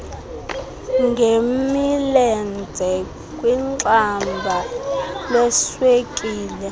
ngemilenze kwixamba leswekile